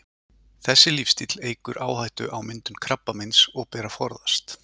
Þessi lífsstíll eykur áhættu á myndun krabbameins og ber að forðast.